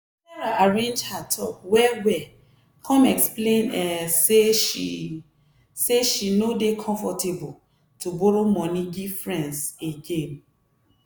sarah arrange her talk well-well come explain um say she say she no dey comfortable to borrow money give friends again.